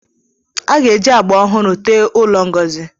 A ga-eji agba ọhụrụ tee ụlọ Ngozi.